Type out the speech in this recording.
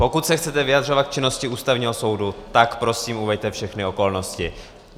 Pokud se chcete vyjadřovat k činnosti Ústavního soudu, tak prosím uveďte všechny okolnosti.